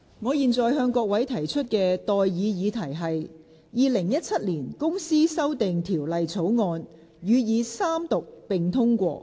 我現在向各位提出的待議議題是：《2017年公司條例草案》予以三讀並通過。